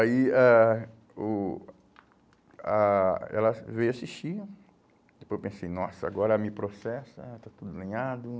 Aí ãh o ah ela veio assistir né, depois eu pensei, nossa, agora me processa, está tudo lenhado.